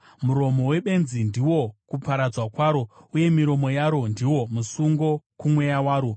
Muromo webenzi ndiwo kuparadzwa kwaro, uye miromo yaro ndiwo musungo kumweya waro.